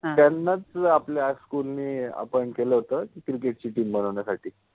त्यानाच आपल्या school {school} नि अपॉइंट {appoint} केल होत क्रिकेट {cricket} चि टिम बनवन्यासाठि